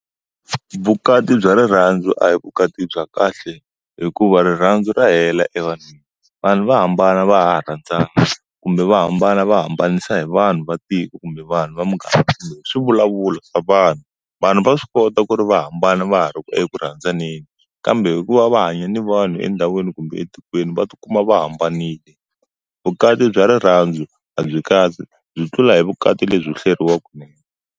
Vukati bya rirhandzu a hi u vukati bya kahle, hikuva rirhandzu ra hela evanhwini. Vanhu va hambana va ha ha rhandzana kumbe va hambana va hambanisa hi vanhu va tiko kumbe vanhu va muganga. Hi swivulavulo vanhu, vanhu va swi kota ku ri va hambana va ha ri eku rhandzaneni, kambe hikuva va hanya ni vanhu endhawini kumbe etikweni va ti kuma va hambanile. Vukati bya rirhandzu a byi kahle byi tlula hi vukati lebyo hleriwa kunene.